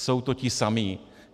Jsou to ti samí.